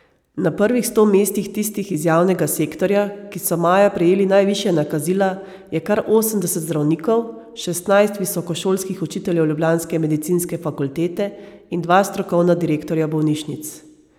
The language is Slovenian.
Na prvih sto mestih tistih iz javnega sektorja, ki so maja prejeli najvišja nakazila, je kar osemdeset zdravnikov, šestnajst visokošolskih učiteljev ljubljanske medicinske fakultete in dva strokovna direktorja bolnišnic.